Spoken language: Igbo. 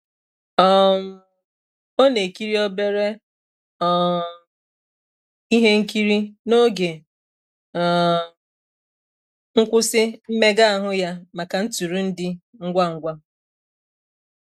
um Ọ na-ekiri obere um ihe nkiri n’oge um nkwụsị mmega ahụ ya maka ntụrụndụ ngwa ngwa.